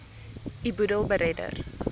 u boedel beredder